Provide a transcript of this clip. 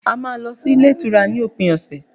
A má lọ sí ilé ìtura ní òpin ọ̀sẹ̀